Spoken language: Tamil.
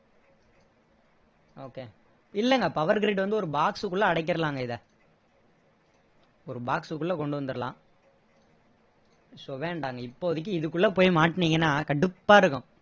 இல்லைங்க power grade வந்து ஒரு box குள்ள அடக்கிடலாங்க இதை ஒரு box குள்ள கொண்டு வந்துடலாம் so வேண்டாங்க இப்போதைக்கு இதுக்குள்ள போய் மாட்டுனீங்கன்னா கடுப்பா இருக்கும்